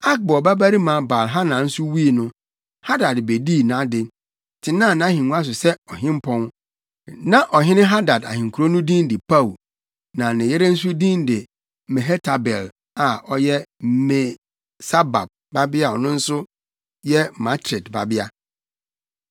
Akbor babarima Baal-Hanan nso wui no, Hadad bedii nʼade, tenaa nʼahengua so sɛ ɔhempɔn. Na ɔhene Hadad ahenkurow no din de Pau, na ne yere nso din de Mehetabel a ɔyɛ Me-Sahab babea a ɔno nso yɛ Matred babea.